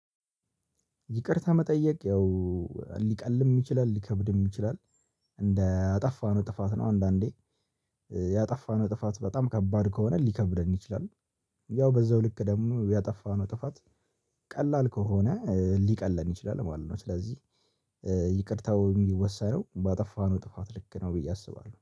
ይቅርታ መጠየቅ ያው ሊቀልም ይችላል ሊከብድም ይችላል እንደ አጠፋነው ጥፋት ነው። አንዳንዴ ያጠፋነው ጥፋት በጣም ከባድ ከሆነ ሊከብደን ይችላል። ያው በዛው ልክ ደግሞ ያጠፋነው ጥፋት ቀላል ከሆነ ሊቀለን ይችላል ማለት ነው። ስለዚህ ይቅርታው የሚወሰነው ባጠፋነው ጥፋት ልክ ነው ብዬ አስባለሁ